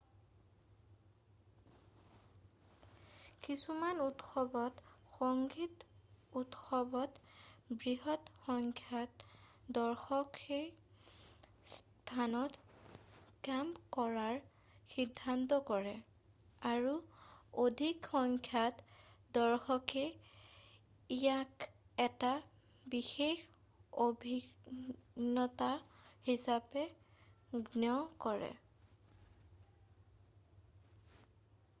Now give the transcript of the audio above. কিছুমান উৎসৱত সংগীত উৎসৱত বৃহৎ সংখ্যক দৰ্শকে সেই স্থানত কেম্প কৰাৰ সিদ্ধান্ত কৰে আৰু অধিক সংখ্যক দৰ্শকে ইয়াক এটা বিশেষ অভিজ্ঞতা হিচাপে গণ্য কৰে